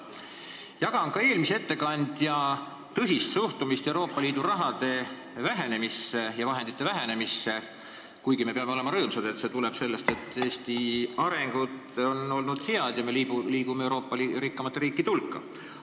Jagan ka eelmise ettekandja tõsist suhtumist Euroopa Liidu raha ja vahendite vähenemisse, kuigi me peame olema rõõmsad, et see tuleb sellest, et Eesti areng on olnud hea ning me liigume Euroopa rikkaimate riikide hulka.